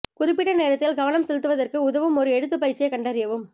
குறிப்பிட்ட நோக்கத்தில் கவனம் செலுத்துவதற்கு உதவும் ஒரு எழுத்து பயிற்சியைக் கண்டறியவும்